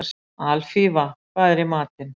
Alfífa, hvað er í matinn?